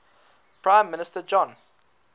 prime minister john